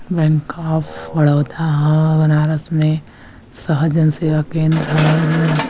bank of Baroda